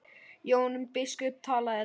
Jón biskup talaði lágt.